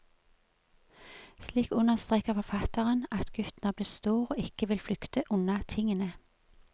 Slik understreker forfatteren at gutten er blitt stor og ikke vil flykte unna tingene.